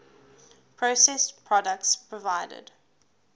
processed products provided